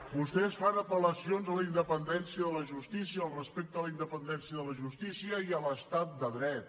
vostès fan apel·lacions a la independència de la justícia al respecte a la independència de la justícia i a l’estat de dret